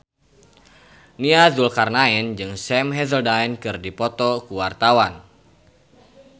Nia Zulkarnaen jeung Sam Hazeldine keur dipoto ku wartawan